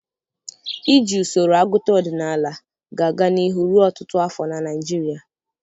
Iji usoro agụta ọdịnala ga-aga n'ihu ruo ọtụtụ afọ na Nigeria.